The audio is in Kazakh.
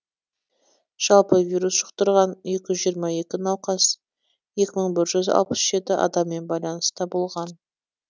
жалпы вирус жұқтырған екі жүз жиырма екі науқас екі мың жүз алпыс жеті адаммен байланыста болған